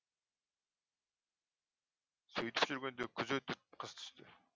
сөйтіп жүргенде күз өтіп қыс түсті